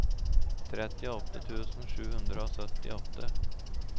trettiåtte tusen sju hundre og syttiåtte